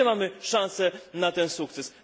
Gdzie mamy szansę na ten sukces?